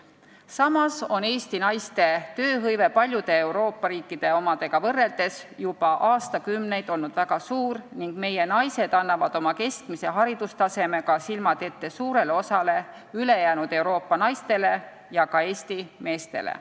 Samas on Eesti naiste tööhõive paljude Euroopa riikide omaga võrreldes juba aastakümneid olnud väga suur ning meie naised annavad oma keskmise haridustasemega silmad ette suurele osale ülejäänud Euroopa naistele ja ka Eesti meestele.